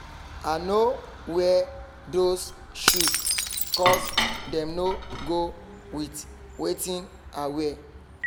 i no wear those shoe cos dem no go with wetin i wear